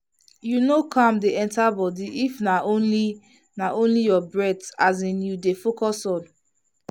you know calm dey enter body if na only na only your breath as in you dey focus on.